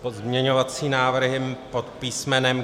Pozměňovací návrhy pod písm.